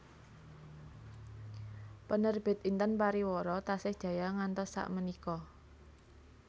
Penerbit Intan Pariwara tasih jaya ngantos sak menika